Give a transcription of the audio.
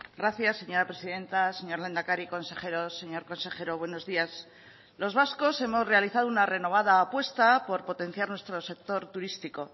gracias señora presidenta señor lehendakari consejeros señor consejero buenos días los vascos hemos realizado una renovada apuesta por potenciar nuestro sector turístico